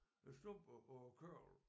Æ slumper og æ kørvel